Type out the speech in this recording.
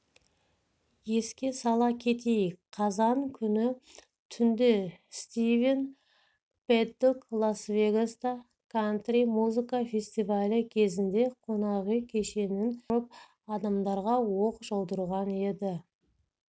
еске сала кетейік қазан күні түнде стивен пэддок лас-вегаста кантри музыка фестивалі кезінде қонақүй кешенінің қабатынан тұрып адамдарға оқ жаудырған еді